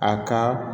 A ka